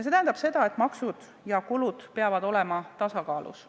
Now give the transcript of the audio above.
See tähendab seda, et maksud ja kulud peavad olema tasakaalus.